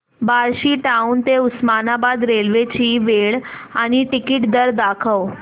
Barshi town ते Osmanabad railway ची वेळ आणि तिकीट दर दाखव